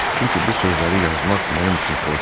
Çünki bu sözləri yazmaq mənim üçün xoşdur.